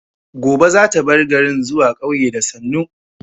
Gobe za ta bar garin zuwa ƙauye da sannu